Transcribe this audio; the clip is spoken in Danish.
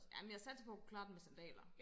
Jamen jeg regner med at kunne klare den med sandaler